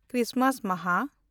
Christmas ᱢᱟᱦᱟ